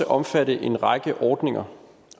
omfatte en række ordninger